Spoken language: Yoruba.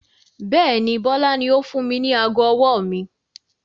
Bẹ́ẹ̀ni, Bọlá ni ó fún mi ní aago ọwọ́ mi.